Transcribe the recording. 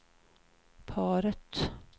paret